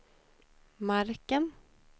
marken